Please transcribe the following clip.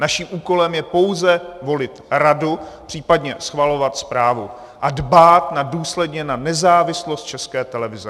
Naším úkolem je pouze volit radu, případně schvalovat zprávu a dbát důsledně na nezávislost České televize.